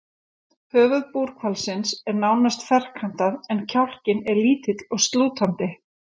Höfuð búrhvalsins er nánast ferkantað, en kjálkinn er lítill og slútandi.